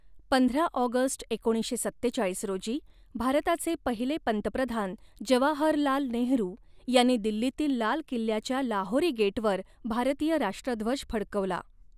पंधरा ऑगस्ट एकोणीसशे सत्तेचाळीस रोजी, भारताचे पहिले पंतप्रधान जवाहरलाल नेहरू यांनी दिल्लीतील लाल किल्ल्याच्या लाहोरी गेटवर भारतीय राष्ट्रध्वज फडकवला.